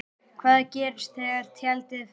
Hvað gerist þegar tjaldið fellur?